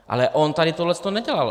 Ale on tady tohle nedělal.